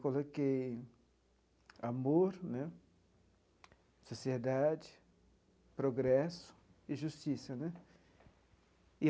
Coloquei amor né, sociedade, progresso e justiça né.